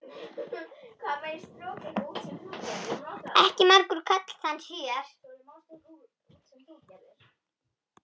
Ekki margur karl þann sér.